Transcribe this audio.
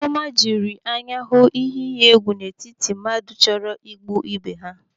Chiọma jiri anya hụ ihe iyi egwu n'etiti mmadụ chọrọ igbu ebe ha.